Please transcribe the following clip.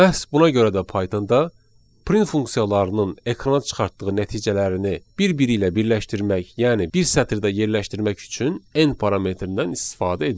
Məhz buna görə də Pythonda print funksiyalarının ekrana çıxartdığı nəticələrini bir-biri ilə birləşdirmək, yəni bir sətirdə yerləşdirmək üçün n parametrindən istifadə edilir.